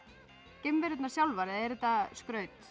geimverurnar sjálfar eða er þetta skraut